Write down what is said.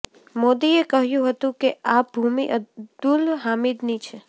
મોદીએ કહ્યું હતું કે આ ભૂમિ અબ્દુલ હામિદની છે